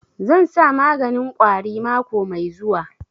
Zan sa maganin ƙwari mako mai zuwa